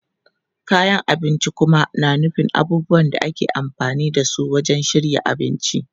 Kayan abinci kuma na nufin abubuwan da ake amfani da su wajen shirya abinci.